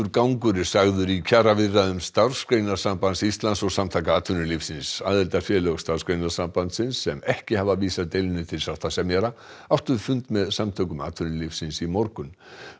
gangur er sagður í kjaraviðræðum Starfsgreinasambands Íslands og Samtaka atvinnulífsins aðildarfélög Starfsgreinasambandsins sem ekki hafa vísað deilunni til sáttasemjara áttu fund með Samtökum atvinnulífsins í morgun